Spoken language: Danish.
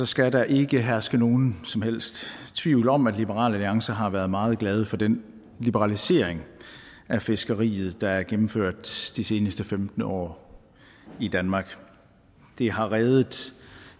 skal der ikke herske nogen som helst tvivl om at liberal alliance har været meget glade for den liberalisering af fiskeriet der er gennemført de seneste femten år i danmark det har reddet